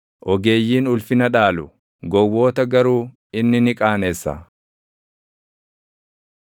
Ogeeyyiin ulfina dhaalu; gowwoota garuu inni ni qaanessa.